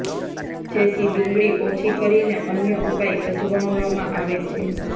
જેથી ડુંગળી ઓછી કરીને અન્ય ઉપાય અજમાવવામાં આવે છે